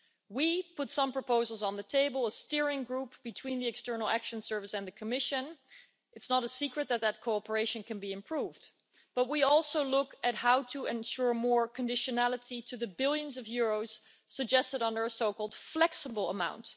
We put some proposals on the table a steering group between the External Action Service and the Commission, and it's not a secret that that cooperation can be improved but we also looked at how to ensure more conditionality to the billions of euros suggested under a so called flexible amount.